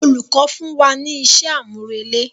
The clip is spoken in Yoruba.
Olùkọ fún wa ní isé àmúrelé.